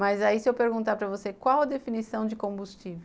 Mas aí se eu perguntar para você qual a definição de combustível?